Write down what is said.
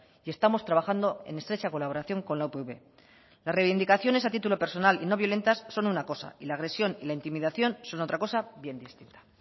y estamos trabajando en estrecha colaboración con la upv las reivindicaciones a título personal y no violentas son una cosa y la agresión y la intimidación son otra cosa bien distinta